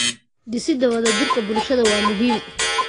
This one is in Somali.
Dhisida wada jirka bulshada waa muhiim.